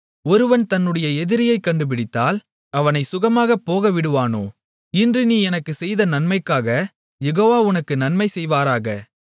ஒருவன் தன்னுடைய எதிரியைக் கண்டுபிடித்தால் அவனைச் சுகமாக போகவிடுவானோ இன்று நீ எனக்குச் செய்த நன்மைக்காகக் யெகோவா உனக்கு நன்மை செய்வாராக